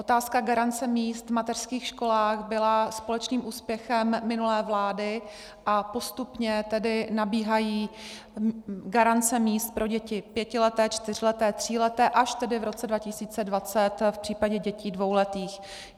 Otázka garance míst v mateřských školách byla společným úspěchem minulé vlády a postupně tedy nabíhají garance míst pro děti pětileté, čtyřleté, tříleté, až tedy v roce 2020 v případě dětí dvouletých.